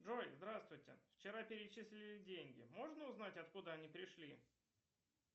джой здравствуйте вчера перечислили деньги можно узнать от куда они пришли